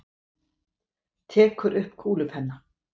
Tekur upp kúlupenna.